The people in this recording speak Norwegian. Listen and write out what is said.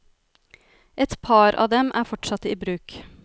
Et par av dem er fortsatt i bruk.